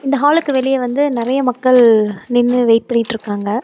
இந்த ஹாலுக்கு வெளிய வந்து நெறைய மக்கள் நின்னு வெயிட் பண்ணிட்ருக்காங்க.